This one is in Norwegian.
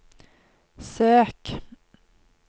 søk